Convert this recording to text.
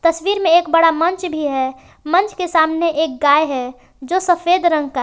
तस्वीर में एक बड़ा मंच भी है मंच के सामने एक गाय हैं जो सफेद रंग का है।